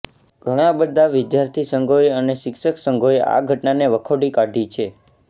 ઘણા બધા વિદ્યાર્થી સંઘોએ અને શિક્ષક સંઘોએ આ ઘટનાને વખોડી કાઢી છે